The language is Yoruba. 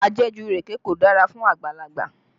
Ajẹ̀jù ìrèké kò dára fún àgbàlagbà